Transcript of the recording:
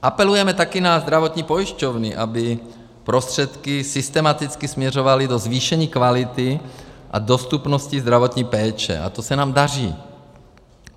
Apelujeme taky na zdravotní pojišťovny, aby prostředky systematicky směřovaly do zvýšení kvality a dostupnosti zdravotní péče, a to se nám daří.